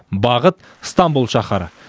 бағыт ыстамбұл шаһары